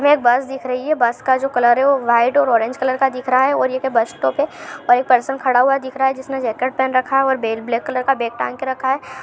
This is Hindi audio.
एक बस दिख रही है बस का जो कलर है वह वाइट और ऑरेंज कलर का दिख रहा है और ये एक बस स्टॉप है और एक पर्सन खड़ा हुआ दिख रहा है जिसने जेकेट पहन रखा है और ब्लै ब्लैक कलर का बेग टांग के रखा हैं।